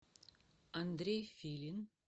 андрей филин